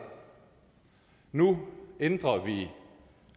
nu ændrer vi